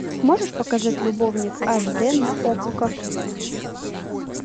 можешь показать любовник аш дэ на окко